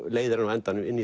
leiðir hann á endanum inn